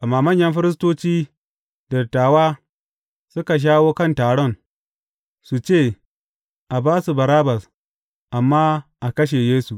Amma manyan firistoci da dattawa suka shawo kan taron, su ce, a ba su Barabbas, amma a kashe Yesu.